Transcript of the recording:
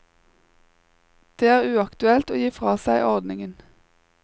Det er uaktuelt å gi fra seg ordningen.